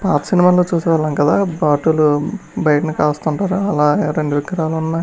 పాత సినిమా లో చూసే వాళ్ళం కదా భటులు బయట కాస్తుంటారు అలా రెండూ విగ్రహాలు ఉన్నాయి.